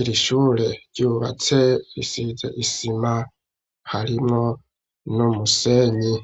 iri shure ryubatse risize isima, harimwo n'umusenyi.